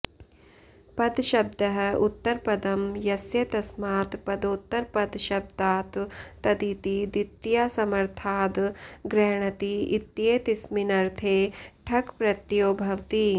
पदशब्दः उत्तरपदं यस्य तस्मात् पदोत्तरपदशब्दात् तदिति द्वितीयासमर्थाद् गृह्णाति इत्येतस्मिन्नर्थे ठक् प्रत्ययो भवति